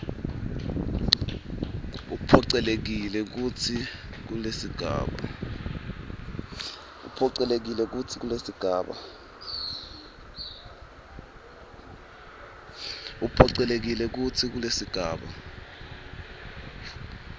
uphocelelekile kutsi kulesigaba